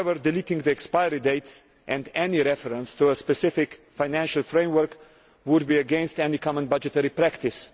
However, deleting the expiry date and any reference to a specific financial framework would be contrary to all common budgetary practice.